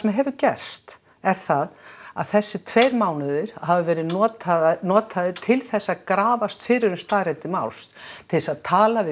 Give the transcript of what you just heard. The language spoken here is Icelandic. hefur gerst er það að þessir tveir mánuðir hafa verið notaðir notaðir til þess að grafast fyrir um staðreyndir máls til þess að tala við